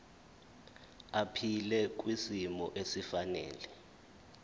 aphile kwisimo esifanele